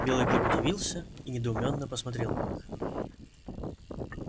белый клык удивился и недоумённо посмотрел на них